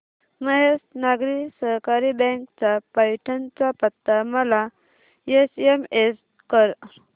Mahesh Nagari Sahakari bank चा पैठण चा पत्ता मला एसएमएस कर